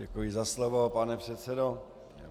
Děkuji za slovo, pane předsedo.